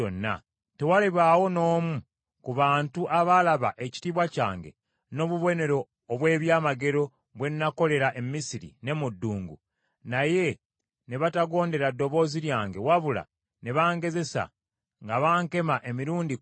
tewalibaawo n’omu ku bantu abaalaba ekitiibwa kyange n’obubonero obw’ebyamagero bwe nakolera e Misiri ne mu ddungu, naye ne batagondera ddoboozi lyange wabula ne bangezesa nga bankema emirundi kkumi,